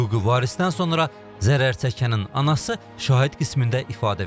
Hüquqi varisdən sonra zərərçəkənin anası şahid qismində ifadə verib.